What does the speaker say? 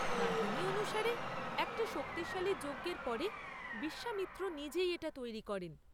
কাহিনি অনুসারে একটা শক্তিশালী যজ্ঞের পরে বিশ্বামিত্র নিজেই এটা তৈরি করেন।